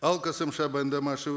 ал қосымша баяндамашы